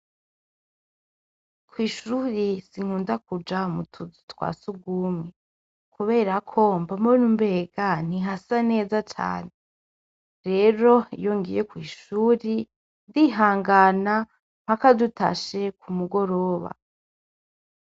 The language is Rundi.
Kw'ishure sinkunda kuja mutuzu twa sugumwe kubera ko, mba mbona umenga ntihasa neza cane. Rero iyo ngiye kw'ishure, ndihangana mpaka dutashe kumugoroba.